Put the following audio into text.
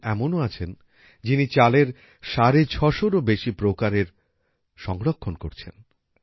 একজন এমনও আছেন যিনি চালের ৬৫০এরও বেশি প্রকারের সংরক্ষণ করছেন